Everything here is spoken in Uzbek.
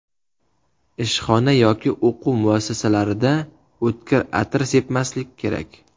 Ishxona yoki o‘quv muassasalarida o‘tkir atir sepmaslik kerak.